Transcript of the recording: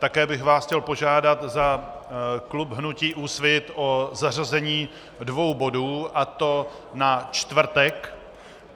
Také bych vás chtěl požádat za klub hnutí Úsvit o zařazení dvou bodů, a to na čtvrtek.